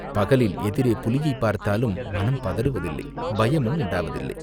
பகலில் எதிரே புலியைப் பார்த்தாலும் மனம் பதறுவதில்லை, பயமும் உண்டாவதில்லை.